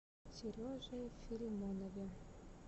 сереже филимонове